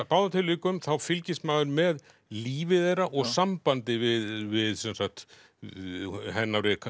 báðum tilvikum þá fylgist maður með lífi þeirra og sambandi við hennar við